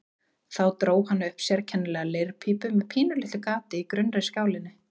Þá dró hann upp sérkennilega leirpípu með pínulitlu gati í grunnri skálinni.